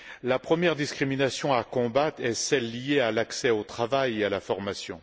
La première discrimination à combattre est celle liée à l'accès au travail et à la formation.